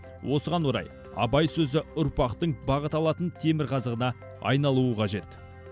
осыған орай абай сөзі ұрпақтың бағыт алатын темірқазығына айналуы қажет